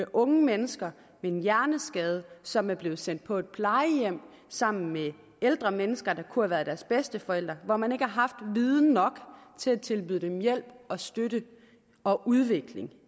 unge mennesker med en hjerneskade som er blevet sendt på plejehjem sammen med ældre mennesker der kunne have været deres bedsteforældre hvor man ikke har haft viden nok til at tilbyde dem hjælp og støtte og udvikling